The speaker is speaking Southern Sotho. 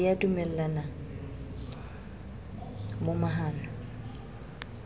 di a dumellana mo mahano